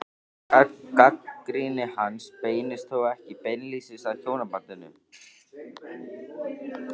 Gagnrýni hans beinist þó ekki beinlínis að hjónabandinu.